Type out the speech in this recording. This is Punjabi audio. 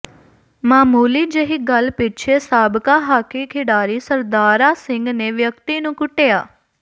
ਮਾਮੂਲੀ ਜਿਹੀ ਗੱਲ ਪਿੱਛੇ ਸਾਬਕਾ ਹਾਕੀ ਖਿਡਾਰੀ ਸਰਦਾਰਾ ਸਿੰਘ ਨੇ ਵਿਅਕਤੀ ਨੂੰ ਕੁੱਟਿਆ